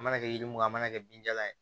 Mana kɛ yiri mun n'a kɛ bin jala ye